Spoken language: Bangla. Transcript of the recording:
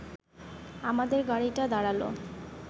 আমাদের গাড়িটা দাঁড়াল